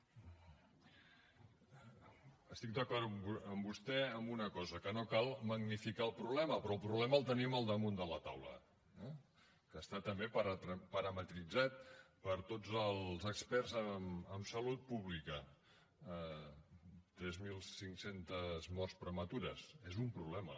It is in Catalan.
estic d’acord amb vostè en una cosa que no cal magnificar el problema però el problema el tenim al damunt de la taula eh que està també parametritzat per tots els experts en salut pública tres mil cinc cents morts prematures és un problema